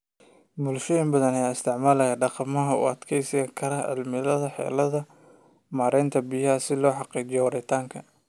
Bulshooyinka badan ayaa isticmaalaya dhaqamada u adkeysan kara cimilada xeeladahooda maaraynta biyaha si loo xaqiijiyo waaritaanka.